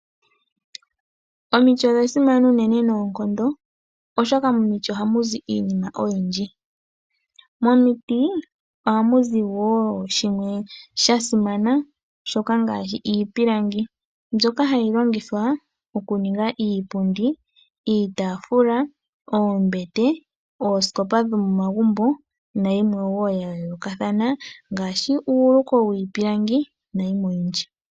Omiti odha simana unene noonkondo ,oshoka momiti oha mu zi iinima oyindji. Oha mu zi iipilangi mbyoka hayi longithwa oku niga iipundi, iitaafula ,oombete, osikopa dhomomagumbo, uuluko wiipilangi nayilwe woo.